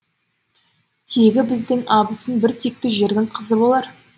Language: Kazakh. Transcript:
тегі біздің абысын бір текті жердің қызы болар